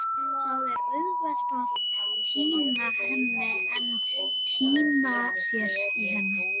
Það er auðveldara að týna henni en týna sér í henni.